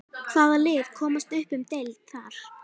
Hvaða lið komast upp um deild þar?